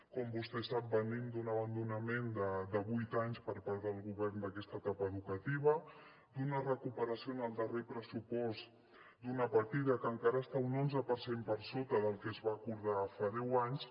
com vostè sap venim d’un abandonament de vuit anys per part del govern d’aquesta etapa educativa d’una recuperació en el darrer pressupost d’una partida que encara està un onze per cent per sota del que es va acordar fa deu anys